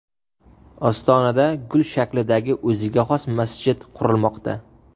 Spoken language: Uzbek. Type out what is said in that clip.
Ostonada gul shaklidagi o‘ziga xos masjid qurilmoqda .